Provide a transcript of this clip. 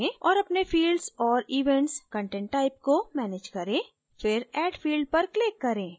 और अपने fields और events content type को manage करें फिर add field पर click करें